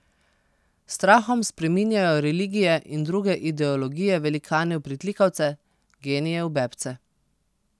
S strahom spreminjajo religije in druge ideologije velikane v pritlikavce, genije v bebce.